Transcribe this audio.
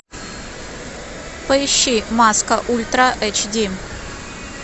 поищи маска ультра эйч ди